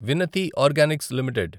వినతి organics limited